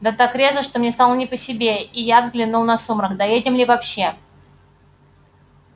да так резво что мне стало не по себе и я взглянул на сумрак доедем ли вообще